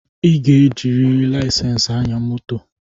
E ji laisensi aya moto